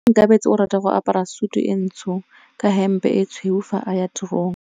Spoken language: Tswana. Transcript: Onkabetse o rata go apara sutu e ntsho ka hempe e tshweu fa a ya tirong.